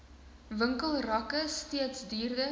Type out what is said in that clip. winkelrakke steeds duurder